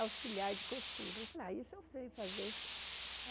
auxiliar de costura. Eu falei ah isso eu sei fazer